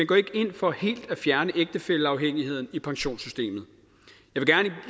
går ikke ind for helt af fjerne ægtefælleafhængigheden i pensionssystemet